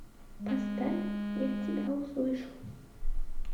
поставь я тебя услышу